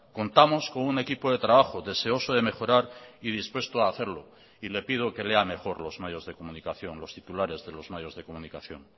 contamos con un equipo de trabajo deseoso de mejorar y dispuesto a hacerlo y le pido que lea mejor los medios de comunicación los titulares de los medios de comunicación